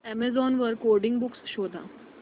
Amazon वर coding books शोधा